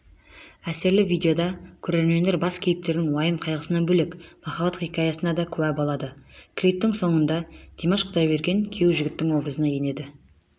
әсерлі видеода көрермендер бас кейіпкердің уайым-қайғысынан бөлек махаббат хикаясына дакуә болады клиптің соңында димаш құдайберген күйеу жігіттің образына енеді